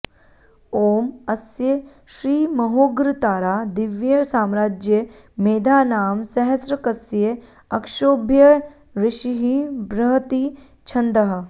ॐ अस्य श्रीमहोग्रतारा दिव्य साम्राज्य मेधा नाम सहस्रकस्य अक्षोभ्यऋषिः बृहति छन्दः